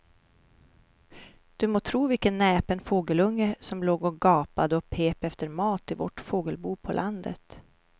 Du må tro vilken näpen fågelunge som låg och gapade och pep efter mat i vårt fågelbo på landet.